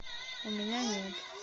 у меня нет